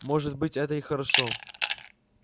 может быть это и хорошо